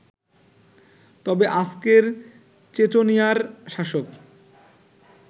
তবে আজকের চেচনিয়ার শাসক